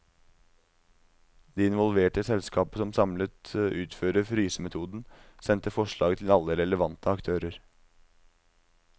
De involverte selskaper som samlet utfører frysemetoden, sendte forslaget til alle relevante aktører.